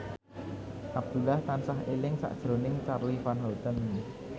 Abdullah tansah eling sakjroning Charly Van Houten